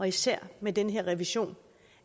især med den her revision